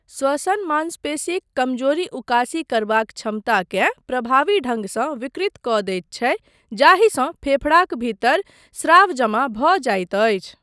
श्वसन मांसपेशीक कमजोरी उकासी करबाक क्षमताकेँ प्रभावी ढंगसँ विकृत कऽ दैत छै जाहिसँ फेफड़ाक भीतर स्राव जमा भऽ जाइत अछि।